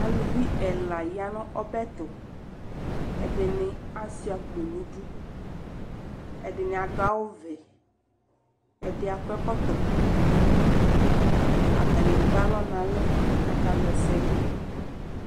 Aluvi ɛla ya n'ɔbɛtʋ, ɛdini Asua akpɔ n'idu, ɛdini adʋ awʋ vɛ, ɛdi ak'ɛkɔtɔ, atani ekpe alɔ n'ɛlɛ k'aka wla ɛsɛ dʋ